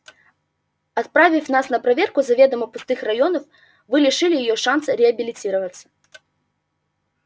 отправив нас на проверку заведомо пустых районов вы лишили её шанса реабилитироваться